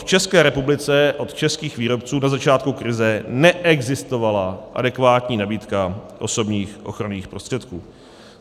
V České republice od českých výrobců na začátku krize neexistovala adekvátní nabídka osobních ochranných prostředků.